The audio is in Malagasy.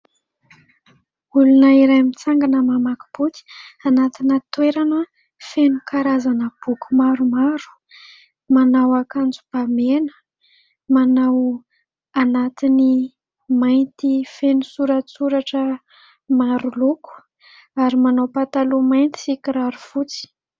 Olona iray mitsangana mamaky boky anatina toerana feno karazana boky maromaro. Manao akanjo ba mena, manao anatiny mainty feno soratsoratra maro loko ary manao pataloha mainty sy kiraro fotsy.